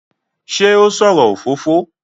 Ṣé ó sọ̀rọ̀ òfófó?